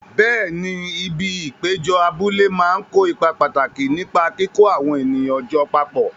Bẹẹ̀ni, ibi ìpéjọ abúlé máa ń kó ipa pàtàkì nípa kíkó àwọn ènìyàn jọ papọ̀.